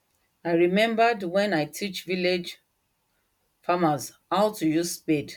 i remembered wen i teach village farmers how to use spade